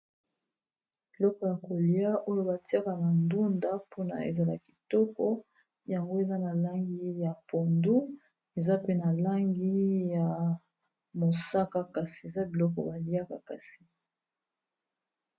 Biloko ya kolia, oyo batiaka na ndunda mpona ezala kitoko yango eza na langi ya pondu eza pe na langi ya mosaka, kasi eza biloko baliaka kasi.